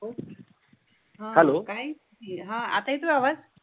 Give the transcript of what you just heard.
हा, हेल्लो काय कि आता येतोय आवाज